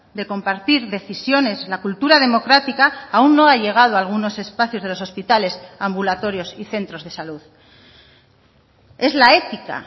de compartir decisiones la cultura democrática aún no ha llegado a algunos espacios de los hospitales ambulatorios y centros de salud es la ética